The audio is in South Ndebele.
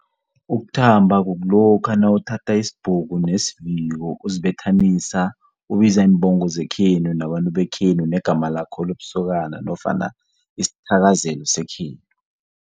Ukuthamba kulokha nawuthatha isibhuku nesiviko uzibethanisa ubiza iimbongo zekhenu nabantu bekhenu negama lakho lobusokana nofana isithakazelo sekhenu.